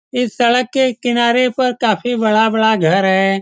इस सड़क के किनारे पर काफी बड़ा-बड़ा घर है।